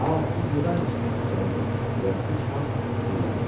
A, siz burdaymışsınız cənablar, deyə Gic Hans dilləndi.